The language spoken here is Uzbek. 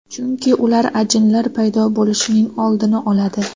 Chunki ular ajinlar paydo bo‘lishining oldini oladi.